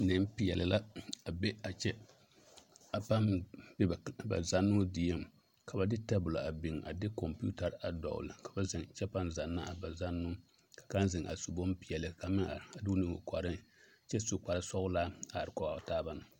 Nempeɛle la a be a kyɛ a paa be ba zannoo dieŋ ka de tabola a biŋ de kɔmpeetare a dɔgle ka ba zeŋ kyɛ paa zanna a ba zannoo kaŋ zeŋ a su bonpeɛlle kaŋ meŋ are a de o nu eŋ o kɔreŋ kyɛ su kparesɔglaa a are kɔge a o taaba na.